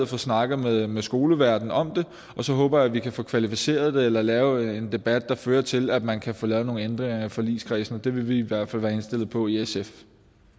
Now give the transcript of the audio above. få snakket med med skoleverdenen om det og så håber jeg at vi kan få kvalificeret det eller lavet en debat der fører til at man kan få lavet nogle ændringer i forligskredsen det vil vi i hvert fald være indstillet på i sf